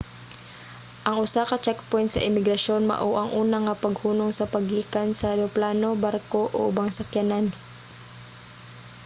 ang usa ka checkpoint sa imigrasyon mao ang una nga paghunong sa paggikan sa eroplano barko o ubang sakyanan